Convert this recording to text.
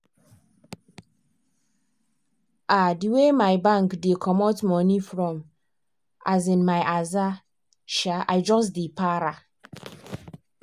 um the way my bank dey comot money from um my aza um i just dey para